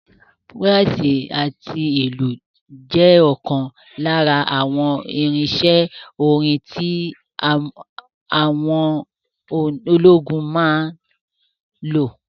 Búràsì àti ìlù jẹ́ ọ̀kan lára àwọn irinsẹ́ orin tí àwọn ológun máa ń lò